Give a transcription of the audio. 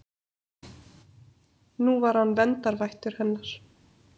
Nú var hann verndarvættur hennar.